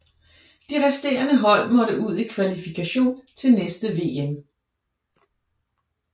De resterende hold måtte ud i kvalifikation til næste VM